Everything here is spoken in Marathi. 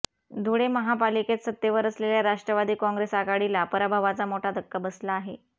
धुळे महापालिकेत सत्तेवर असलेल्या राष्ट्रवादी काँग्रेस आघाडीला पराभवाचा मोठा धक्का बसला आहे